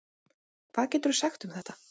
Hvað geturðu sagt um þetta?